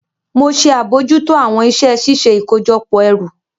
Mo ṣe abojuto awọn iṣẹ ṣiṣe ikojọpọ ẹru.